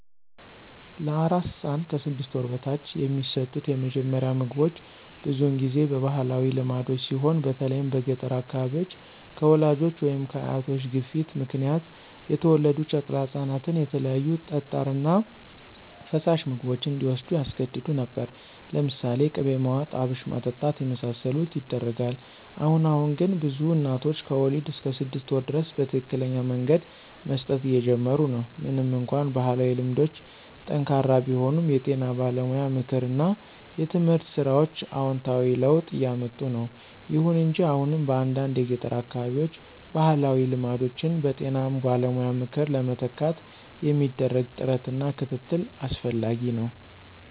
ለአራስ ሕፃን (ከ 6 ወር በታች) የሚሰጡት የመጀመሪያ ምግቦች ብዙውን ጊዜ በባህላዊ ልማዶች ሲሆን በተለይም በገጠር አካባቢዎች፣ ከወላጆች ወይም ከአያቶች ግፊት ምክንያት የተወለዱ ጨቅላ ህፃናትን የተለያዩ ጠጣር እና ፈሳሽ ምግቦች እንዲዎስዱ ያስገድዱ ነበር። ለምሳሌ ቅቤ ማዋጥ፣ አብሽ ማጠጣት የመሳሰሉት ይደረጋል። አሁን አሁን ግን ብዙ እናቶች ከወሊድ እስከ 6 ወር ድረስ በትክክለኛ መንገድ መስጠት እየጀመሩ ነው። ምንም እንኳን ባህላዊ ልማዶች ጠንካራ ቢሆኑም፣ የጤና ባለሙያ ምክር እና የትምህርት ሥራዎች አዎንታዊ ለውጥ እያምጡ ነው። ይሁን እንጂ አሁንም በአንዳንድ የገጠር አካባቢዎች ባህላዊ ልማዶችን በጤና ባለሙያ ምክር ለመተካት የሚደረግ ጥረት እና ክትትል አስፈላጊ ነው።